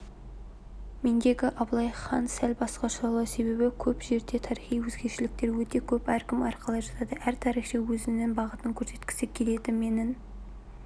мендегі абылайхан сәл басқашалау себебі көп жерде тарихи өзгешеліктер өте көп әркім әрқалай жазады әр тарихшы өзінің бағытын көрсеткісі келеді менің